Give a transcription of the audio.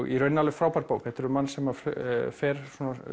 í rauninni alveg frábær bók þetta er um mann sem fer